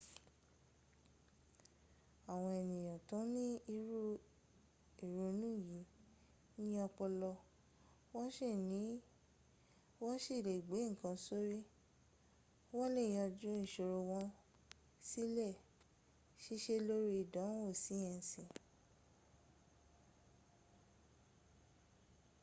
àwọn ènìyàn tó ní irú ìrònú yìí ní ọpọlọ wọ́n sì lè gbé ǹkan sórí wọ́n lè yànjú ìṣòro wọ́n sì lè ṣiṣẹ́ lórí ìdánwò síẹ́nsì